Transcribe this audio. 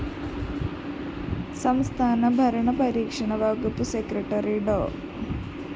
സംസ്ഥാന ഭരണ പരിഷ്‌കരണ വകുപ്പ് സെക്രട്ടറി ഡോ